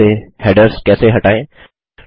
पहले पेज से हैडर्स कैसे हटाएँ